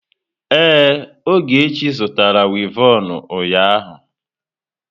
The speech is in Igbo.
Ee, Ogechi zụtara wivọnụ ụnyaahụ.